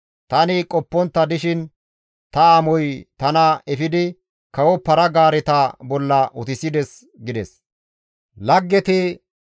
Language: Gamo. Tani qoppontta dishin, ta amoy tana efidi kawo para-gaareta bolla utissides» gides.